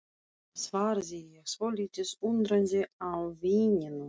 svaraði ég, svolítið undrandi á vininum.